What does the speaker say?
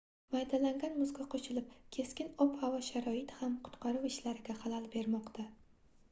maydalangan muzga qoʻshilib keskin ob-havo sharoiti ham qutqaruv ishlariga xalal bermoqda